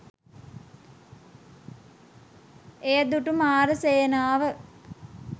එය දුටු මාර සේනාව